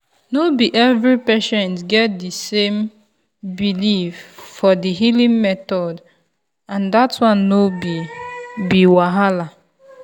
no be every patient get the same belief for the healing method and that one no be be wahala.